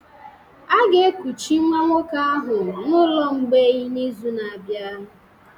A ga-ekuchi nwa nwoke ahụ n'ụlọ mgbei n'izu na-abịa